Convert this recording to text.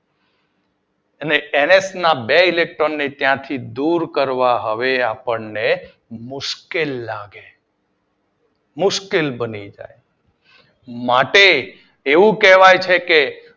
અને N H ના બે ઇલેક્ટ્રોન ને ત્યાંથી દૂર કરવા હવે આપણને મુશ્કેલ બને મુશ્કેલ લાગે માટે એવું કહેવાય છે કે